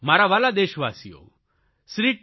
મારા વ્હાલા દેશવાસીઓ શ્રી ટી